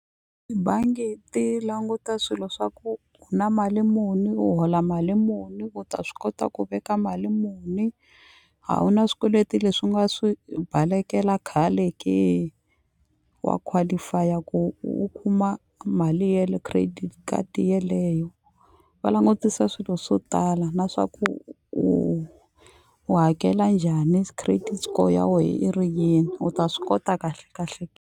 Tibangi ti languta swilo swa ku ku na mali muni u hola mali muni u ta swi kota ku veka mali muni a wu na swikweleti leswi u nga swi balekela khale ke wa qualify-a ku u kuma mali ye le credit card yeleyo va langutisa swilo swo tala na swa ku u u hakela njhani credit score ya wehe i ri yini u ta swi kota kahle kahle .